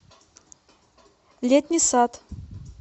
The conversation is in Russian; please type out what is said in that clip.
летний сад